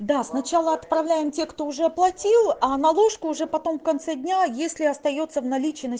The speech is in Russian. да сначала отправляем те кто уже оплатил а наложку уже потом в конце дня если остаётся в наличии